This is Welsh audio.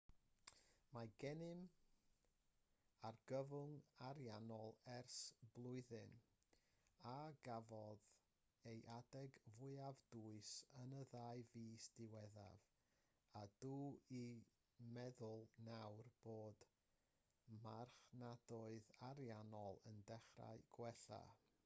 mae gennym argyfwng ariannol ers blwyddyn a gafodd ei adeg fwyaf dwys yn y ddau fis diwethaf a dw i'n meddwl nawr bod y marchnadoedd ariannol yn dechrau gwella